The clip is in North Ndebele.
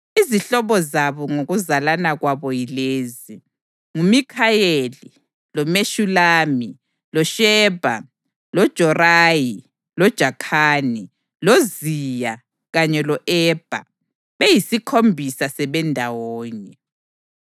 Izihlobo zabo, ngokuzalana kwabo, yilezi: nguMikhayeli, loMeshulami, loShebha, loJorayi, loJakhani, loZiya kanye lo-Ebha, beyisikhombisa sebendawonye.